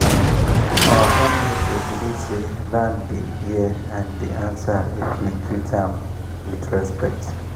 our family dey believe say land dey hear and dey answer if you treat am with respect.